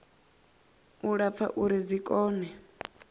u lapfa uri dzi kone